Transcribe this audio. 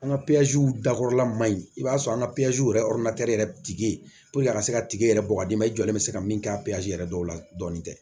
An ka dakɔrɔla man ɲi i b'a sɔrɔ an ka yɛrɛ yɛrɛ tigi ye a ka se ka tigi yɛrɛ bɔ ka d'i ma i jɔlen bɛ se ka min kɛ a yɛrɛ dɔw la dɔɔnin tɛ